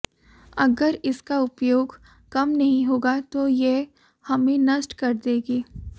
अगर इसका उपयोग कम नहीं होगा तो यह हमें नष्ट कर देगी